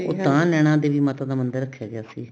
ਉਹ ਤਾਂ ਨੈਣਾ ਦੇਵੀ ਮਾਤਾ ਦਾ ਮੰਦਿਰ ਰੱਖਿਆ ਗਿਆ ਸੀ